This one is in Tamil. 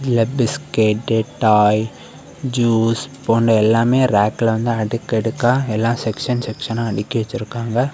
இங்க பிஸ்கட்டு டாய் ஜுஸ் போன்ற எல்லாமே ராக்ல வந்து அடுகடுக்கா எல்லா செக்ஷன் செக்ஷானா அடுக்கி வச்சிருக்காங்க.